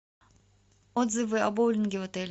отзывы о боулинге в отеле